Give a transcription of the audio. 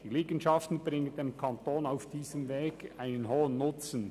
Die Liegenschaften bringen dem Kanton auf diesem Weg einen hohen Nutzen.